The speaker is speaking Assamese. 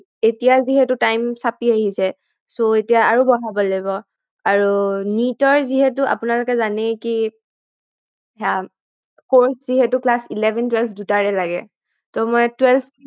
এতিয়া যিহেতু time চাপি আহিছে so এতিয়া আৰু বঢ়াব লাগিব আৰু NEET ৰ যিহেতু আপোনালোকে জানেই কি আহ course যিহেতু class eleven twelve দুইটাৰে লাগে মই tweleve